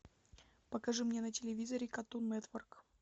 покажи мне на телевизоре картун нетворк